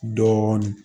Dɔɔnin